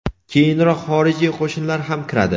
keyinroq xorijiy qo‘shinlar ham kiradi.